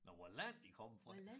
Nåh hvad land de kommer fra